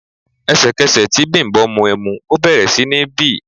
Ẹ̀sẹ̀kẹsẹ̀ tí Bimbo mu ẹmu, ó bẹ̀rẹ̀ sí ní bì.